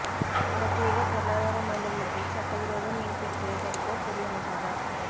பிரத்யேக பொருளாதார மண்டலத்தில் சட்டவிரோத மீன் பிடித்தலை தடுக்க புதிய மசோதா